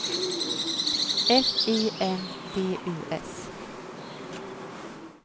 F I N D U S